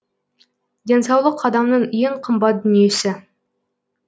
денсаулық адамның ең қымбат дүниесі